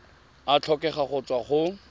a tlhokega go tswa go